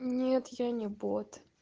нет я не бот